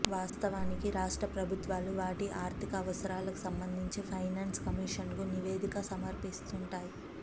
వాస్తవానికి రాష్ట్ర ప్రభుత్వాలు వాటి ఆర్థిక అవసరాలకు సంబంధించి ఫైనాన్స్ కమిషన్కు నివేదిక సమర్పిస్తుంటాయి